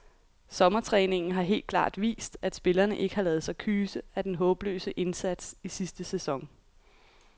Sommertræningen har helt klart vist, at spillerne ikke har ladet sig kyse af den håbløse indsats i sidste sæson.